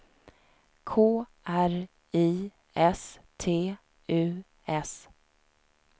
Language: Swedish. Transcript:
K R I S T U S